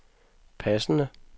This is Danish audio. passende